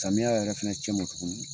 Samiya yɛrɛ fɛnɛ cɛ ma tugun